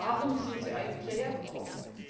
Also warum sind Sie eigentlich hierher gekommen?